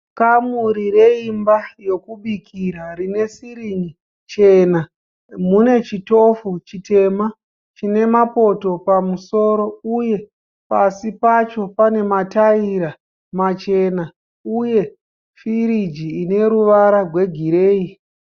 Kamuri reimba yokubikira rine sirini chena. Munechitofu chitema chine mapoto pamusoro uye pasi pacho pane mataira machena, uye firiji ineruvara rwegireyi.